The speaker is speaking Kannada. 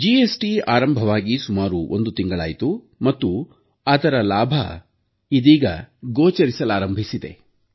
ಜಿಎಸ್ಟಿ ಆರಂಭವಾಗಿ ಸುಮಾರು ಒಂದು ತಿಂಗಳಾಯ್ತು ಮತ್ತು ಅದರ ಪ್ರಯೋಜನ ಗೋಚರಿಸಲಾರಂಭಿಸಿದೆ